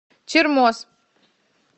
чермоз